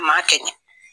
Maa kɛ ɲɛ